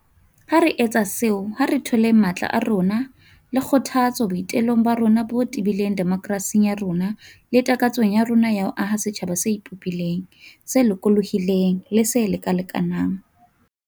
Ha re etsa seo, ha re tholeng matla a rona le kgothatso boi telong ba rona bo tebileng demokerasing ya rona le takatsong ya rona ya ho aha setjhaba se ipopileng, se lokolohileng le se lekalekanang.